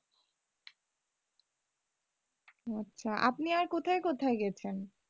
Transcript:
আচ্ছা আপনি আর কোথায় কোথায় গেছেন?